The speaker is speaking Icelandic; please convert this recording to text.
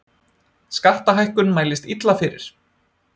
Skattahækkun mælist illa fyrir